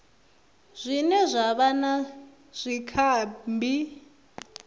zwine zwa vha na zwikambi